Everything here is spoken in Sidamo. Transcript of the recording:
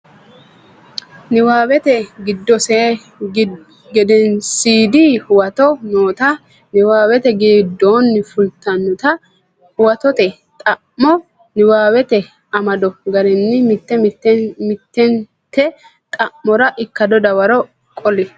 Nabbawate Gedensiidi Huwato noota niwaawete giddonni fultinota huwatote xa mo niwaawete amado garinni mitte mittente xa mora ikkado dawaro qoli.